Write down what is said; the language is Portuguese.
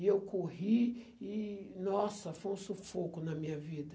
E eu corri e, nossa, foi um sufoco na minha vida.